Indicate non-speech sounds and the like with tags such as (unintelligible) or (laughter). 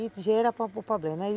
e gera (unintelligible) problema, aí